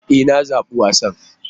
E! Na zabi wasan.